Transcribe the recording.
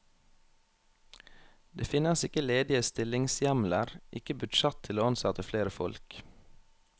Det finnes ikke ledige stillingshjemler, ikke budsjett til å ansette flere folk.